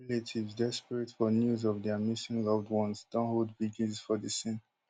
relatives desperate for news of dia missing loved ones don hold vigils for di scene